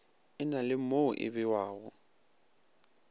e na le mo ebewago